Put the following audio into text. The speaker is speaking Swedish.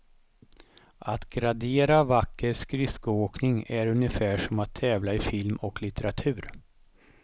Att gradera vacker skridskoåkning är ungefär som att tävla i film och litteratur.